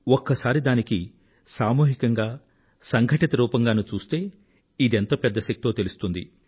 ఒక్కసారి దానికి సామూహికంగా సంఘటిత రూపంగా చూస్తే ఇదెంత పెద్ద శక్తో తెలుస్తుంది